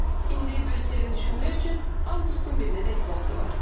İndi Brüsselin düşünmək üçün avqustun birinədək vaxtı var.